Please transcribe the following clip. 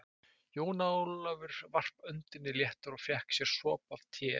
Jón Ólafur varp öndinni léttar og fékk sér sopa af teinu.